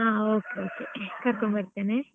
ಹಾ okay okay ಕರ್ಕೊಂಡು ಬರ್ತೇನೆ.